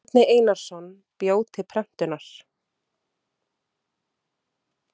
Bjarni Einarsson bjó til prentunar.